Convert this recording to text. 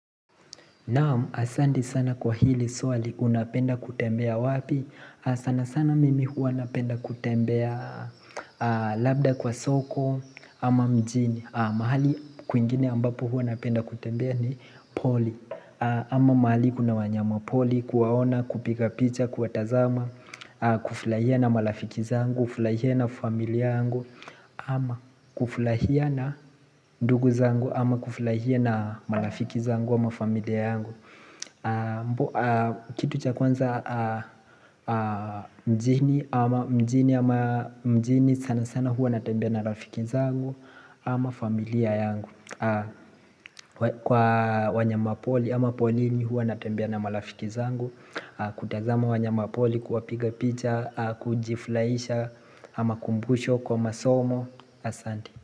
Naam, asanti sana kwa hili swali unapenda kutembea wapi, sana sana mimi hua napenda kutembea labda kwa soko ama mjini mahali kwingine ambapo huwa napenda kutembea ni pori ama mahali kuna wanyama pori kuwaona kupiga picha kuwa tazama kufurahia na marafiki zangu, kufurahia na familia yangu ama kufurahia na ndugu zangu ama kufurahia na marafiki zangu ama familia yangu Kitu cha kwanza mjini ama mjini ama mjini sana sana hua natembea na rafiki zangu ama familia yangu Kwa wanya mapoli ama polini hua natambia na malafiki zangu kutazama wanya mapori kuwapiga picha, kujifurahisha, hma kumbusho kwa masomo asanti.